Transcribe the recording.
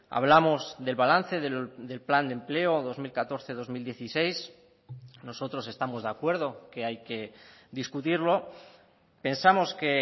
hablamos del balance del plan de empleo dos mil catorce dos mil dieciséis nosotros estamos de acuerdo que hay que discutirlo pensamos que